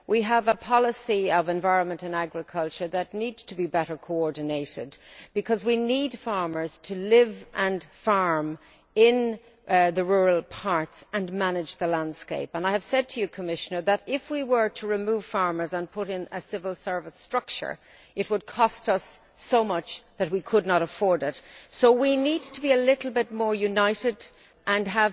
We have policies on the environment and on agriculture that need to be better coordinated because we need farmers to live and farm in rural areas and to manage the landscape. I have said to you, Commissioner, that if we were to remove farmers and to put in a civil service structure, it would cost us so much that we could not afford it, so we need to be rather more united and to